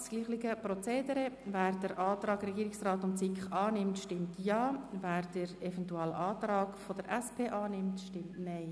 Wer den Antrag Regierungsrat und SiK annimmt, stimmt Ja, wer den Eventualantrag SP-JUSO-PSA annimmt, stimmt Nein.